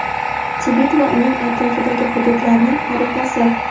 Tibet va uning atrofidagi hududlarning xaritasi.